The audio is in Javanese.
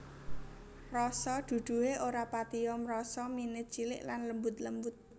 Rasa duduhe ora patiya mrasa mine cilik lan lembut lembut